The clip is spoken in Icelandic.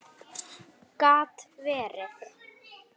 Gat verið!